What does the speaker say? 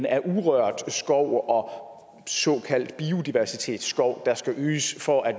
af urørt skov og såkaldt biodiversitetsskov der skal øges for at